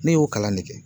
Ne y'o kalan ne kɛ